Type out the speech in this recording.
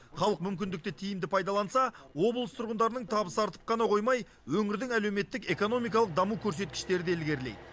халық мүмкіндікті тиімді пайдаланса облыс тұрғындарының табысы артып қана қоймай өңірдің әлеуметтік экономикалық даму көрсеткіштері де ілгерілейді